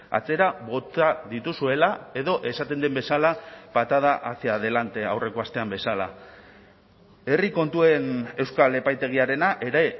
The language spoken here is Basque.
atzera bota dituzuela edo esaten den bezala patada hacia adelante aurreko astean bezala herri kontuen euskal epaitegiarena ere